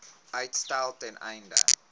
uitstel ten einde